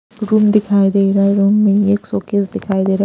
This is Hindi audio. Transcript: रूम दिखाई दे रहा है रूम में एक सोकेज दिखाई दे रहा है।